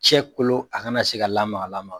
Cɛ kolo a kana se ka lamakalamaka.